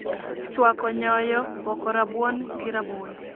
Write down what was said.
Chwako nyoro, poko rabuon gi rabolo